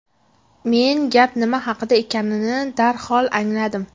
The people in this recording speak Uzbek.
Men gap nima haqida ekanini darhol angladim.